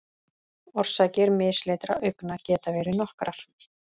Orsakir mislitra augna geta verið nokkrar.